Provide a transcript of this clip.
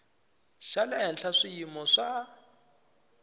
xa le henhla swiyimo swa